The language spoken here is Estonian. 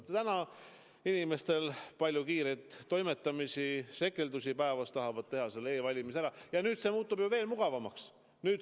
Nüüd on inimestel palju kiireid toimetusi-sekeldusi, nad tahavad e-valimistel ära hääletada ja see muutub aina mugavamaks.